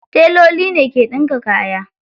Teloli ne ke ɗinka kaya.